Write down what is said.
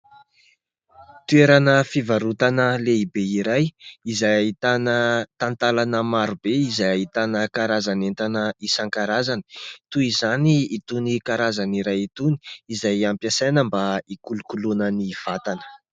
Toerana fivarotana lehibe iray izay ahitana talantalana marobe izay ahitana karazan'entana isan-karazany. Toy izany itony karazana iray itony izay hampiasaina mba hikolokoloana ny vatana.